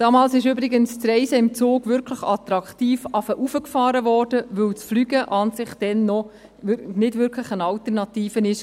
Damals wurde das Reisen im Zug übrigens wirklich attraktiv heraufgefahren, weil Fliegen noch nicht wirklich eine Alternative war.